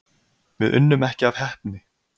Við unnum ekki af heppni.